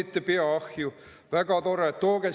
Panite pea ahju, väga tore!